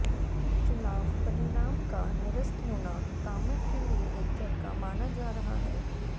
चुनाव परिणाम का निरस्त होना कामत के लिए एक झटका माना जा रहा है